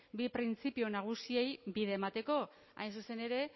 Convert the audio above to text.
bi printzipio nagusi hauei bide emateko hain zuzen ere